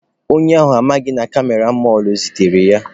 Onye ohi ahụ amaghịkwa na kamera ndị mọlụ setere ya.